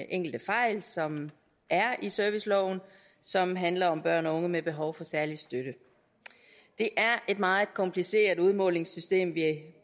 enkelte fejl som er i serviceloven og som handler om børn og unge med behov for særlig støtte det er et meget kompliceret udmålingssystem vi